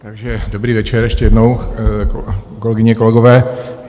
Takže dobrý večer ještě jednou, kolegyně, kolegové.